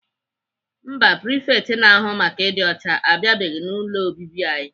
Mba, prifekt na-ahụ maka ịdị ọcha abịabeghị n'ụlọ obibi anyị.